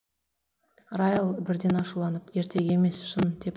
райл бірден ашуланып ертегі емес шын деп